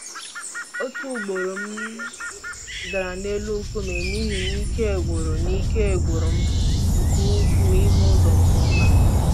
Otu ugboro m dara n'elu nkume n'ihi na ike gwụrụ na ike gwụrụ m nke ukwuu ịhụ ụzọ nke ọma.